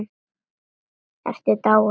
Ertu dáin?